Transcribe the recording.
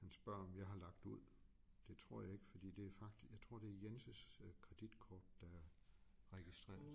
Han spørger om jeg har lagt ud det tror jeg ikke fordi det er jeg tror det er Jens øh kreditkort der er registreret